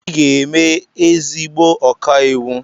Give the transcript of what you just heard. Ị ga-eme ezigbo ọkàiwu.